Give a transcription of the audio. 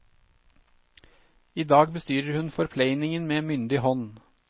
I dag bestyrer hun forpleiningen med myndig hånd.